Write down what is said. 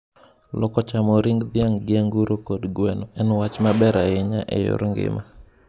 Loko chamo ring dhiang' gi anguro kod gweno en wacg ma ber ahinya e yor ngima.